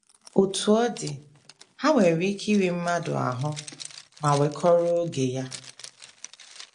Otú ọ dị, ha nwere ike iri mmadụ ahụ́ ma wekọrọ oge ya.